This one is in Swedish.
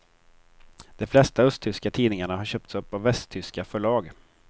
De flesta östtyska tidningarna har köpts upp av västtyska förlag.